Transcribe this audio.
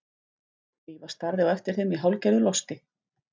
Drífa starði á eftir þeim í hálfgerðu losti.